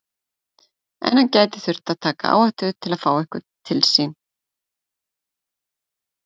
En hann gæti þurft að taka áhættu til að fá einhvern til sín.